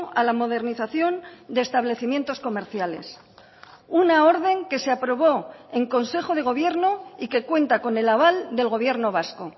a la modernización de establecimientos comerciales una orden que se aprobó en consejo de gobierno y que cuenta con el aval del gobierno vasco